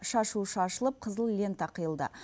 шашу шашылып қызыл лента қиылды